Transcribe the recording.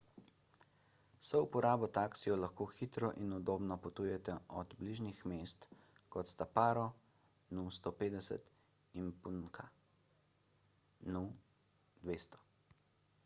s souporabo taksijev lahko hitro in udobno potujete do bližnjih mest kot sta paro nu 150 in punakha nu 200